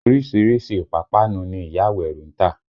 Orísìírísìí ìpápánu ni ìyá Àwẹ̀ró ń tà